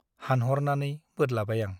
हानह'रनानै बोदलाबाय आं ।